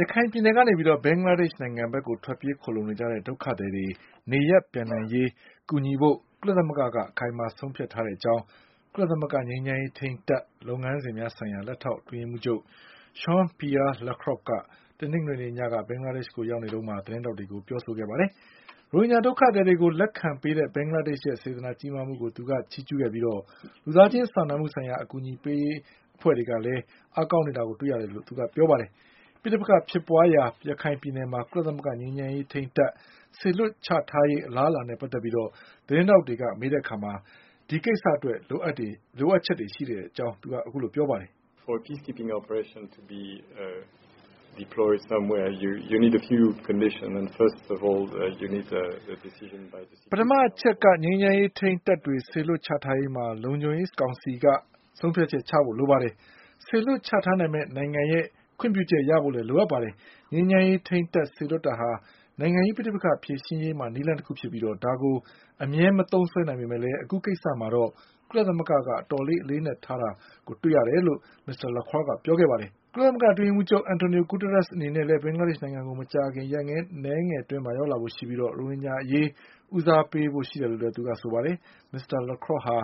ရခိုင်ပြည်နယ်ကနေ ဘင်္ဂလားဒေ့ရှ်ကို ထွက်ပြေးခိုလှုံနေကြတဲ့ ဒုက္ခသည်တွေနေရပ်ပြန်နိုင်ရေး ကူညီဖို့ ကုလသမဂ္ဂက အခိုင်အမာဆုံးဖြတ်ထားတဲ့အကြောင်း ကုလသမဂ္ဂငြိမ်းချမ်းရေးထိန်းတပ်လုပ်ငန်းစဉ်များဆိုင်ရာ လက်ထောက်အတွင်းရေးမှူးချုပ် Jean Pierre Lacroix က တနင်္ဂနွေညက ဘင်္ဂလားဒေ့ရှ်ကိုရောက်နေတုန်းမှာ သတင်းထောက်တွေကို ပြောခဲ့ ပါတယ်။ ရိုဟင်ဂျာဒုက္ခသည်တွေကို လက်ခံပေးတဲ့ ဘင်္ဂလားဒေ့ရှ်ရဲ့စေတနာကြီးမားမှုကို သူက ချီးကျူးခဲ့ပြီး လူသားချင်း စာနာမှုဆိုင်ရာ အကူအညီပေးရေးအဖွဲ့တွေကလည်း အားကောင်းနေတာကိုတွေရတယ်လို့ သူကဆိုပါတယ်။ ပဋိပက္ခ ဖြစ်ပွါးရာ ရခိုင်ပြည်နယ်မှာ ကုလသမဂ္ဂငြိမ်းချမ်းရေးထိန်းတပ် စေလွှတ်ချထားရေးအလားအလာနဲ့ပတ်သက်ပြီး သတင်း ထောက်တွေက မေးတဲ့အခါမှာတော့ ဒီကိစ္စအတွက် လိုအပ်ချက်တွေရှိကြောင်းပြောပါတယ်။ "ပထမအချက်က ငြိမ်းချမ်းရေးထိန်းတပ်တွေ စေလွှတ်ချထားရေးမှာ လုံခြုံရေးကောင်စီက ဆုံးဖြတ်ချက်ချဖို့လိုပါတယ်။ စေလွှတ်ချထားမယ့်နိုင်ငံရဲ့ ခွင်ပြုချက်ရဖို့လည်းလိုအပ်ပါတယ်။ ငြိမ်းချမ်းရေးထိန်းတပ်စေလွှတ်တာဟာ နိုင်ငံရေးပဋိပက္ခ ဖြေရှင်းရေးမှာ နည်းလမ်းတခုဖြစ်ပြီး ဒါကိုအမြဲမသုံးစွဲနိုင်ပေမဲ့ အခုကိစ္စမှာတော့ ကုလသမဂ္ဂက အတော်အလေးအနက် ထားတယ်" လို့ မစ္စတာ Jean Pierre Lacroix ကပြောခဲ့တာပါ။ ကုလသမဂ္ဂအတွင်းရေးမှူးချုပ် အန်တိုနီယို ဂူးတားရပ်စ်အနေနဲ့ ဘင်္ဂလား ဒေ့ရှ်ကို မကြာ ခင်ရက်အနည်းငယ်အတွင်းမှာ ရောက်လာဖို့ရှိပြီး ရိုဟင်ဂျာအရေးဦးစားပေးဖို့ရှိတယ်လို့လည်းဆိုပါတယ်။ မစ္စတာ Lacroix ဟာ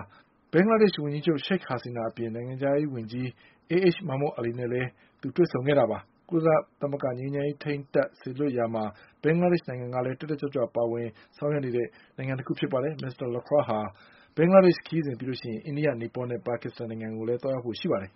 ဘင်္ဂလားဒေ့ရှ်ဝန်ကြီးချုပ် ရှိခ်ဟာစီနာအပြင်၊ နိုင်ငံခြားရေးဝန်ကြီး AH မာမွတ် အာလီတို့နဲ့လည်း တွေ့ဆုံခဲ့တာပါ။ ကုလငြိမ်းချမ်းရေးထိန်းတပ်စေ လွှတ်ရာမှာ ဘင်္ဂဒေ့ရှ်နိုင်ငံကလည်း တက်တက်ကြွကြွပါဝင်ဆောင် ရွက်နေတဲ့ နိုင်ငံတခု ဖြစ်ပါတယ်။ မစ္စတာ Lacroix ဟာ ဘင်္ဂလားဒေ့ရှ်ခရီးစဉ်အပြီး အိန္ဒိယ၊ နီပေါနဲ့ ပါကစ္စတန်နိုင်ငံတွေကိုလည်း သွားရောက်ဖို့ ရှိပါတယ်